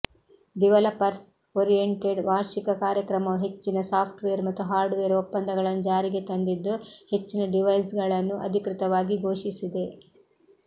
developers oriented ವಾರ್ಷಿಕ ಕಾರ್ಯಕ್ರಮವು ಹೆಚ್ಚಿನ ಸಾಫ್ಟ್ವೇರ್ ಮತ್ತು ಹಾರ್ಡ್ವೇರ್ ಒಪ್ಪಂದಗಳನ್ನು ಜಾರಿಗೆ ತಂದಿದ್ದು ಹೆಚ್ಚಿನ ಡಿವೈಸ್ಗಳನ್ನು ಅಧಿಕೃತವಾಗಿ ಘೋಷಿಸಿದೆ